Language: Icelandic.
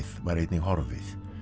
var einnig horfið